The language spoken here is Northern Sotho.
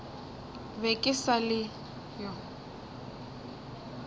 be ke sa le yo